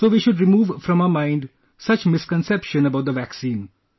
So we should remove from our mind such misconception about the vaccine